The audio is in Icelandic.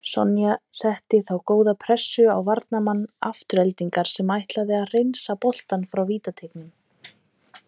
Sonja setti þá góða pressu á varnarmann Aftureldingar sem ætlaði að hreinsa boltann frá vítateignum.